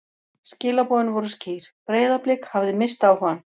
Skilaboðin voru skýr: Breiðablik hafði misst áhugann.